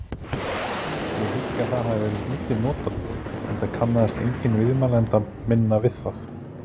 Ég hygg að það hafi lítið verið notað enda kannaðist enginn viðmælanda minna við það.